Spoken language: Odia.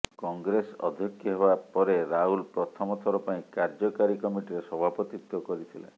କଂଗ୍ରେସ ଅଧ୍ୟକ୍ଷ ହେବା ପରେ ରାହୁଲ ପ୍ରଥମ ଥର ପାଇଁ କାର୍ଯ୍ୟକାରୀ କମିଟିରେ ସଭାପତିତ୍ୱ କରିଥିଲେ